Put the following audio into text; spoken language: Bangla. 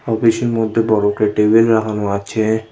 অফিস -এর মদ্যে বড় করে টেবিল লাগানো আছে।